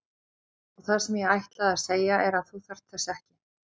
Og það sem ég ætlaði að segja er að þú þarft þess ekki.